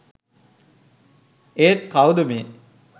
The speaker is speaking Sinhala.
ඒත් කවුද මේ